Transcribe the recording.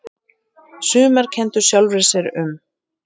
Sumar kenndu sjálfri sér um